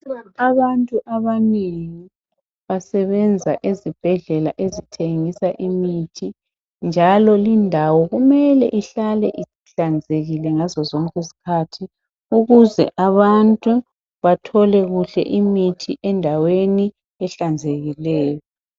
Abantu abanengi basebenzisa ezibhendlela ezithengisa imithi njalo lindawo kumele ihlale ihlanzekile ngazo zonke izikhathi ukuze abantu bathole kuhle imithi endaweni ehlanzekileyo